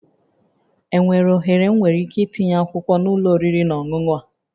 Enwere ohere m nwere ike itinye akwụkwọ na ụlọ oriri na ọṅụṅụ a?